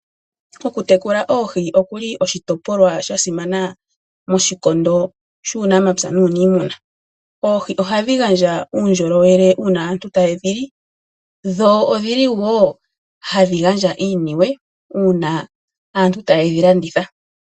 Okutekula oohi okuli oshitopolwa shasimana moshikondo shuunamapya nuunimuna. Oohi ohadhi gandja uundjolowele uuna aantu taye dhi li, dho odhili wo hadhi gandja iiniwe, uuna aantu tayedhi landitha.